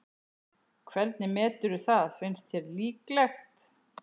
Hvernig meturðu það, finnst þér líklegt?